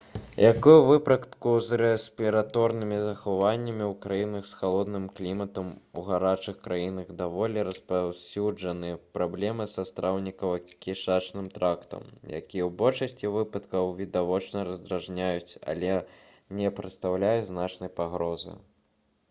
як і ў выпадку з рэспіраторнымі захворваннямі ў краінах з халодным кліматам у гарачых краінах даволі распаўсюджаны праблемы са страўнікава-кішачным трактам якія ў большасці выпадкаў відавочна раздражняюць але не прадстаўляюць значнай пагрозы